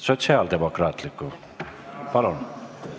Sotsiaaldemokraatliku Erakonna fraktsiooni nimel.